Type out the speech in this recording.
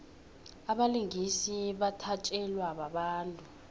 abalingisi bathatjelwa babantu